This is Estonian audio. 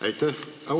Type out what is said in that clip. Aitäh!